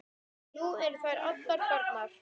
Nú eru þær allar farnar.